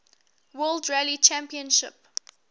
world rally championship